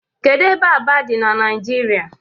Kedụ ebe Aba dị n'Naijiria